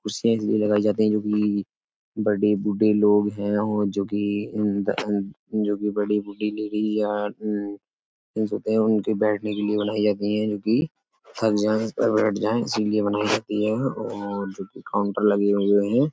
कुर्सियाँ इसलिए लगाई जाती है जो कि बडे बूडे बूढ़े लोग हैं और जो कि इम द अम जो कि बडी बुडी लेडिज या अम जेन्ट्स होते हैं उनके बैठने के लिए बनाई जाती हैं जो कि थक जाएं और बैठ जाएं इसीलिए बनाई जाती हैं और जो कि काउन्टर लगे हुए हैं।